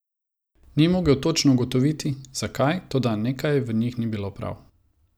Ni mogel točno ugotoviti, zakaj, toda nekaj v njih ni bilo prav.